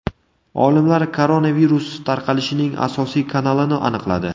Olimlar koronavirus tarqalishining asosiy kanalini aniqladi.